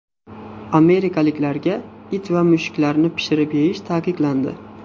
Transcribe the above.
Amerikaliklarga it va mushuklarni pishirib yeyish taqiqlandi.